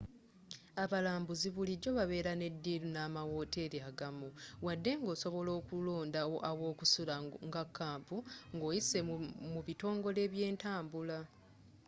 abalambuuzi bulijjo babeera ne diilu n'amawooteri agamu wadde nga osobola okwelondera awokusula nga kampu ng'oyise mu bitongole byentambula